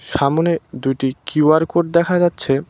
সামনে দুটি QR code দেখা যাচ্ছে।